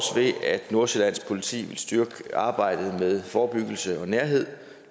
ved at nordsjællands politi vil styrke arbejdet med forebyggelse og nærhed og